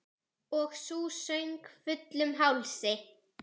Og sú söng, fullum hálsi!